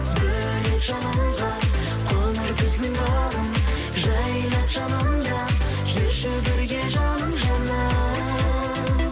бөлеп жалынға қоңыр күздің бағын жайнап жанымда жүрші бірге жаным жаным